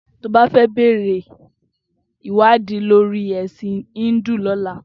Toba fè bèrè iwádí lórí èsín hindu lòlá